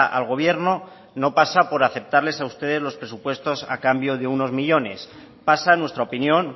al gobierno no pasa por aceptarles a ustedes los presupuestos a cambio de unos millónes pasa en nuestra opinión